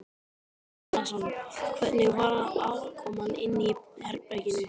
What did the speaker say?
Andri Ólafsson: Hvernig var aðkoman inni í herberginu?